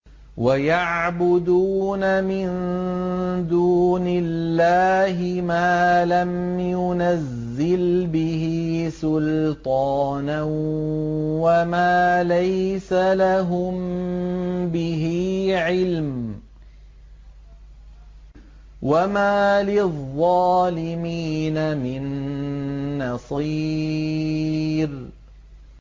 وَيَعْبُدُونَ مِن دُونِ اللَّهِ مَا لَمْ يُنَزِّلْ بِهِ سُلْطَانًا وَمَا لَيْسَ لَهُم بِهِ عِلْمٌ ۗ وَمَا لِلظَّالِمِينَ مِن نَّصِيرٍ